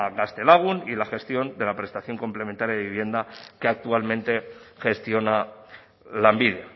gaztelagun y la gestión de la prestación complementaria de vivienda que actualmente gestiona lanbide